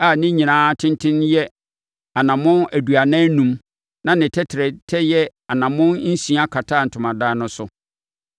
a ne nyinaa tenten yɛ anammɔn aduanan enum na ne tɛtrɛtɛ yɛ anammɔn nsia kataa Ntomadan no so.